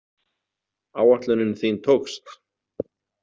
Áætlunin þín tókst.